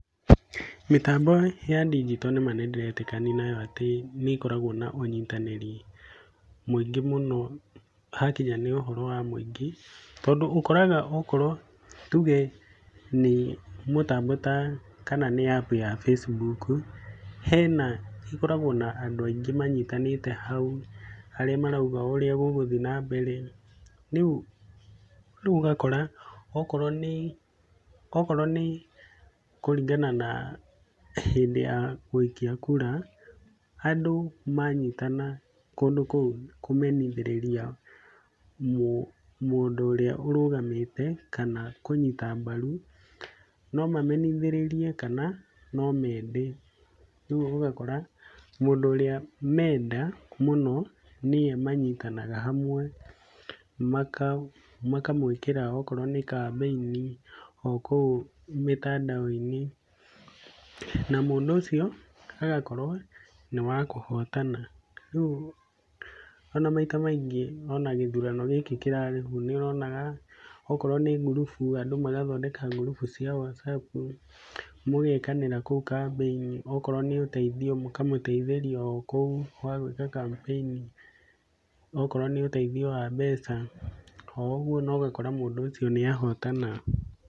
Mĩtambo ya ndinjito nĩma nĩ ndĩretĩkania nayo atĩ nĩ ĩkoragwo na ũnyitanĩri mũingĩ mũno hakinya nĩ ũhoro wa mũingĩ. Tondũ ũkoraga tũge nĩ mũtambo ta kana nĩ App ya Facebook, hena ĩkoragwo na andũ aingĩ manyitanĩte hau, arĩa maroiga ũrĩa gũgũthiĩ nambere. Rĩu ũgakora okorwo nĩ kũringana na hĩndĩ ya gũikia kura andũ manyitana kũndũ kũu kũmenithĩrĩria mũndũ ũrĩa ũrũgamĩte kana kũnyita mbaru, no mamenithĩrĩrie kana no mende. Rĩu ũgakora mũndũ ũrĩa menda mũno nĩwe manyitanaga hamwe, makamwĩkĩra okorwo nĩ kambĩini o kũu mitandaoni na mũndũ ũcio agakorwo nĩ wakũhotana. Rĩu ona maita maingĩ ona gĩthurano gĩkĩ kĩrarĩkuo nĩ ũronaga okorwo nĩ group andũ magathondeka group cia WhatsApp magekanĩra kũu kambĩini. Okorwo nĩ ũteithio mũkamũteithĩria o kũu wa gwĩka kambĩini, na okorwo nĩ ũteithio wa mbeca, o ũguo na ũgakora mũndũ ũcio nĩ ahotana.